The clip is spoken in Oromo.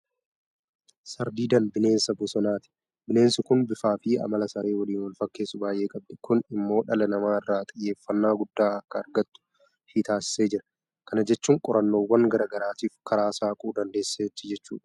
Sardiidaan bineensa bosanaati. Bineensi kun bifaafi amala saree waliin walfakkeessu baay'ee qabdi. Kun immoo dhala namaa irraa xiyyeeffannaa guddaa akka argattu ishee taasisaa jira. Kana jechuun qorannoowwan garaa garaatiif karaa saaquu dandeesseetti jechuudha.